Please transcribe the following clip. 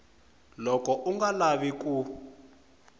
loko u nga lavi ku